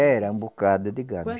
Era um bocado de gado.